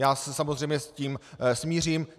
Já se samozřejmě s tím smířím.